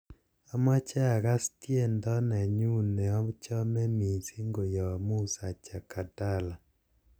amoje agas tiendo nenyun neochome missing koyop musa jakadala